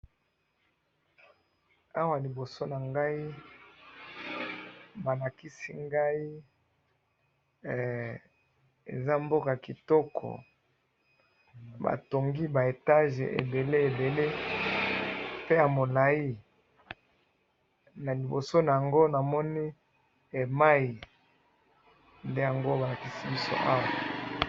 awa liboso na ngai, ba lakisi ngai, eza mboka kitoko, batongi ba étages ebele ebele pe ya mulai, na liboso na yango namoni mayi, nde balakisi biso awa